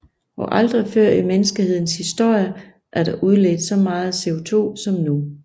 Og aldrig før i menneskehedens historie er der udledt så meget CO2 som nu